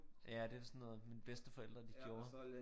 Ja det sådan noget mine bedsteforældre de gjorde